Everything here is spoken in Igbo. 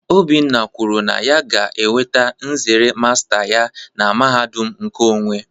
Obinna kwuru na ya ga-enweta nzere masta ya na mahadum nkeonwe